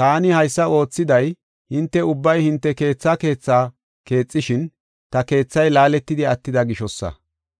Taani haysa oothiday hinte ubbay hinte keethaa keethaa keexishin, ta keethay laaletidi attida gishosa.